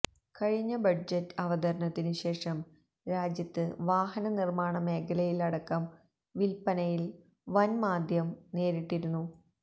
കഴിഞ്ഞ ബഡ്ജറ്റ് അവതരണത്തിനുശേഷം രാജ്യത്ത് വാഹനനിര്മ്മാണ മേഖലയിലടക്കം വില്പ്പനയില് വന് മാന്ദ്യം നേരിട്ടിരുന്നു